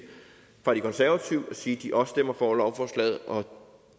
fra de konservative og sige at de også stemmer for lovforslaget og